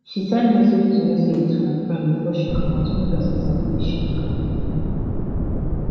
she send message to message to her friend before she comot make person sabi where she dey go